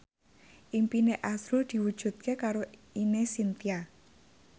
impine azrul diwujudke karo Ine Shintya